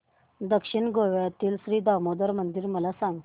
दक्षिण गोव्यातील श्री दामोदर मंदिर मला सांग